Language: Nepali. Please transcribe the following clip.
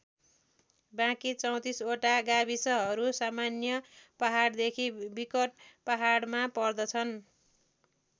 बाँकी ३४ वटा गाविसहरू सामान्य पहाडदेखि विकट पहाडमा पर्दछन्।